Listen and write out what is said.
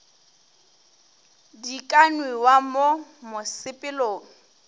di ka nwewa mo mosepelong